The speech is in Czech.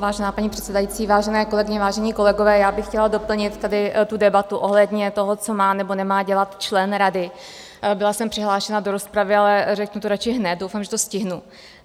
Vážená paní předsedající, vážené kolegyně, vážení kolegové, já bych chtěla doplnit tady tu debatu ohledně toho, co má nebo nemá dělat člen rady Byla jsem přihlášena do rozpravy, ale řeknu to radši hned, doufám, že to stihnu.